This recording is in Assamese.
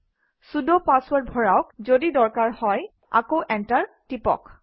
চুদ পাছৱৰ্ড ভৰাওক এইটো কৰা দৰকাৰী এতিয়া আকৌ এণ্টাৰ টিপক